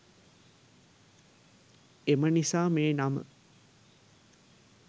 එම නිසා මේ නම